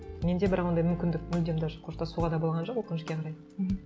менде бірақ ондай мүмкіндік мүлдем даже қоштасуға да болған жоқ өкінішке қарай мхм